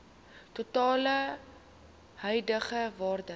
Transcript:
totale huidige waarde